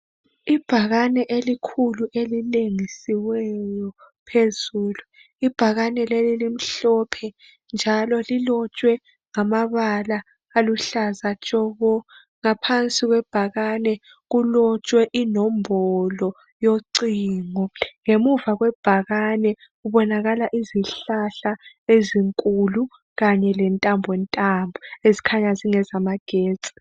Ibhakane elikhulu elilengisiweyo phezulu. Ibhakane leli limhlophe njalo lilotshwe ngamabala aluhlaza tshoko, ngaphansi kwebhakane kulotshwe inombolo yocingo, ngemuva kwebhakane kubonakala izihlahla ezinkulu kanye lentambontambo ezikhanya zingezamagetsi.